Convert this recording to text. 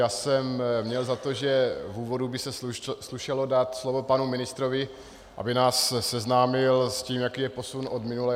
Já jsem měl za to, že v úvodu by se slušelo dát slovo panu ministrovi, aby nás seznámil s tím, jaký je posun od minule.